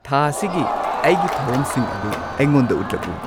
ꯊꯥ ꯑꯁꯤꯒꯤ ꯑꯩꯒꯤ ꯊꯧꯔꯝꯁꯤꯡ ꯑꯗꯨ ꯑꯩꯉꯣꯟꯗ ꯎꯠꯂꯛꯎ